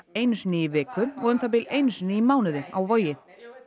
einu sinni í viku og um það bil einu sinni í mánuði á Vogi